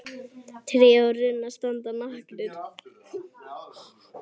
Tré og runnar standa nakin.